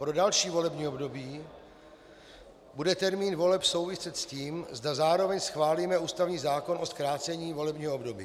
Pro další volební období bude termín voleb souviset s tím, zda zároveň schválíme ústavní zákon o zkrácení volebního období.